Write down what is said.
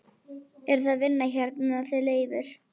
Eruð þið að vinna hérna þið Leifur?